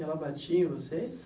Ela batia em vocês?